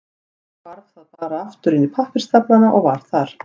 Svo hvarf það bara aftur inn í pappírsstaflana og var þar.